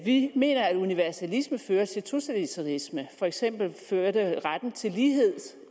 vi mener at universalisme fører til totalitarisme for eksempel førte retten til lighed